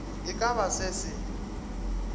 e ka ba se se